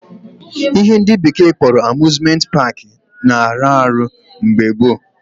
Ihe ndị bekee kpọrọ Amuzmenti paakị na arụ ọrụ mgbe gboo